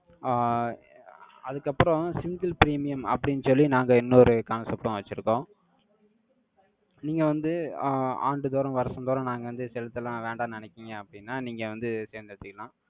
ஆஹ் அதுக்கு அப்புறம், single premium அப்படின்னு சொல்லி, நாங்க இன்னொரு concept உம் வச்சிருக்கோம் நீங்க வந்து, ஆஹ் ஆண்டுதோறும், வருஷந்தோறும், நாங்க வந்து, செலுத்தலாம், வேண்டாம்ன்னு நினைக்கிறீங்க, அப்படின்னா, நீங்க வந்து, தேர்ந்தெடுத்துடலாம்.